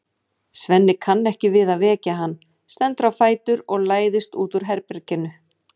Svenni kann ekki við að vekja hann, stendur á fætur og læðist út úr herberginu.